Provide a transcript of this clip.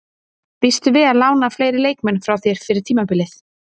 Býstu við að lána fleiri leikmenn frá þér fyrir tímabilið?